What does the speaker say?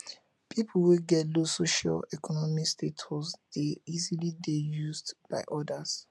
pipo wey get low socioeconomic status de easily de used by others